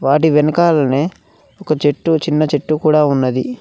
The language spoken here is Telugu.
వాటి వెనకాలనే ఒక చెట్టు చిన్న చెట్టు కూడా ఉన్నది.